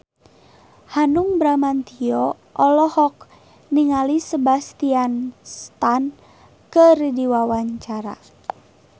Hanung Bramantyo olohok ningali Sebastian Stan keur diwawancara